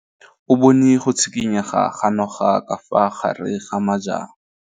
O bone go tshikinya ga noga ka fa gare ga majang.